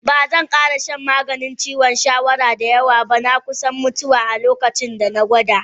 Ba zan kara shan maganin ciwon shawara da yawa ba, na yi kusan mutuwa a locacinda na gwada.